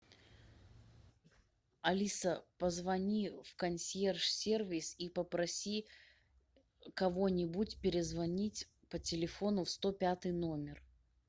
алиса позвони в консьерж сервис и попроси кого нибудь перезвонить по телефону в сто пятый номер